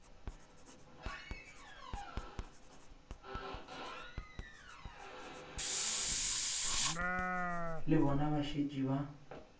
le bona ba šetše ba